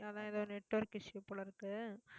அதான் எதோ network issue போல இருக்கு